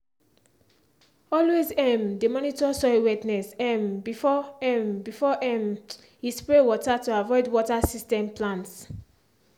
always um de monitor soil wetness um before um before um e spray water to avoid water system plants.